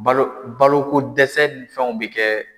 Balo baloko dɛsɛ ni fɛnw bɛ kɛ.